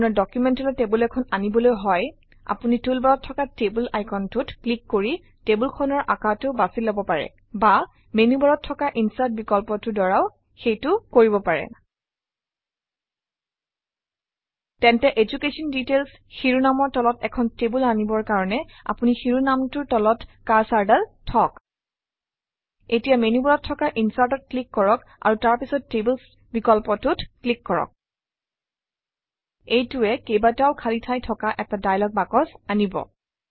আপোনাৰ ডকুমেণ্টলৈ টেবুল এখন আনিবলৈ হয় আপুনি টুলবাৰত থকা টেবল আইকনটোত ক্লিক কৰি টেবুলখনৰ আকাৰটো বাছি লব পাৰে বা মেনুবাৰত থকা ইনচাৰ্ট বিকল্পটোৰ দ্বাৰাও সেইটো কৰিব পাৰে তেন্তে এডুকেশ্যন ডিটেইলছ শিৰোনামৰ তলত এখন টেবুল আনিবৰ কাৰণে আপুনি শিৰোনামটোৰ তলত কাৰ্চৰডাল থওক এতিয়া মেনুবাৰত থকা Insert-অত ক্লিক কৰক আৰু তাৰ পাছত টেবলছ বিকল্পটোত ক্লিক কৰক এইটোৱে কেইবাটাও খালী ঠাই থকা এটা দায়লগ বাকচ আনিব